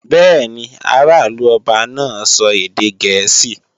Bẹ́ẹ̀ni, ará ìlú ọba náà sọ èdè gẹ̀ẹ́sì